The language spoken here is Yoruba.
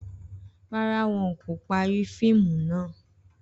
Rárá, wón kò parí fíìmù náà